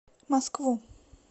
москву